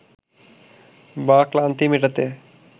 বা ক্লান্তি মেটাতে